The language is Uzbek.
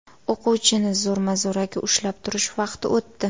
O‘quvchini zo‘rma-zo‘raki ushlab turish vaqti o‘tdi.